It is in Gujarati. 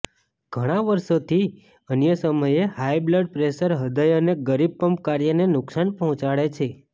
ઘણાં વર્ષોથી અન્ય સમયે હાઈ બ્લડ પ્રેશર હૃદય અને ગરીબ પંપ કાર્યને નુકસાન પહોંચાડે છે